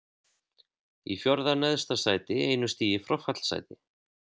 Í fjórða neðsta sæti, einu stigi frá fallsæti.